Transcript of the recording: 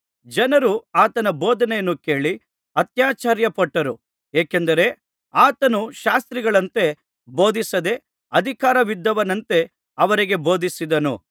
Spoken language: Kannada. ಜನರು ಆತನ ಬೋಧನೆಯನ್ನು ಕೇಳಿ ಆತ್ಯಾಶ್ಚರ್ಯಪಟ್ಟರು ಏಕೆಂದರೆ ಆತನು ಶಾಸ್ತ್ರಿಗಳಂತೆ ಬೋಧಿಸದೆ ಅಧಿಕಾರವಿದ್ದವನಂತೆ ಅವರಿಗೆ ಬೋಧಿಸುತ್ತಿದ್ದನು